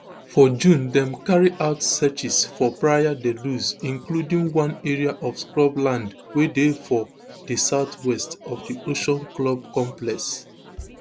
forjunedem carry out searches for praia da luz including one area of scrubland wey dey for di southwest of di ocean club complex